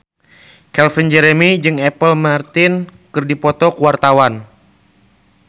Calvin Jeremy jeung Apple Martin keur dipoto ku wartawan